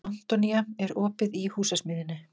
Antonía, er opið í Húsasmiðjunni?